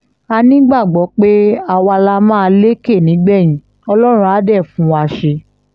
a nígbàgbọ́ pé àwa la máa lékè nígbẹ̀yìn ọlọ́run á dé fún wa ṣe